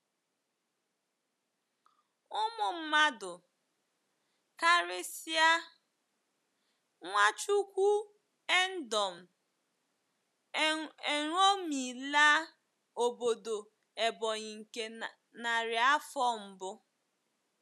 Ụmụ mmadụ, karịsịa Nwachukwu endom, eṅomila obodo Ebonyi nke narị afọ mbụ.